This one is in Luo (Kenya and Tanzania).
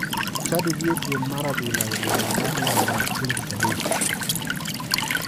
Chadi dhi e piem mar adhula e boma mar luanda chieng tich adek.